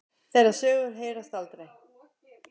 Þeirra sögur heyrast aldrei.